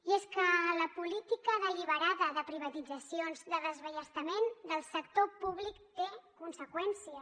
i és que la política deliberada de privatitzacions de desballestament del sector públic té conseqüències